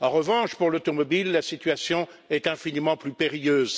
En revanche, pour l'automobile, la situation est infiniment plus périlleuse.